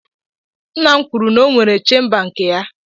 Nna m kwuru n'onwere chemba nke ya.